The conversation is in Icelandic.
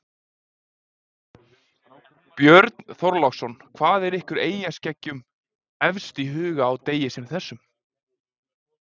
Björn Þorláksson: Hvað er ykkur eyjaskeggjum efst í huga á degi sem þessum?